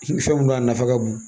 Fɛn mun don a nafa ka bon